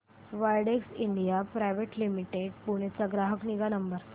Widex India private limited Pune चा ग्राहक निगा नंबर